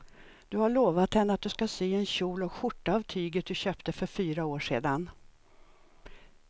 Du har lovat henne att du ska sy en kjol och skjorta av tyget du köpte för fyra år sedan.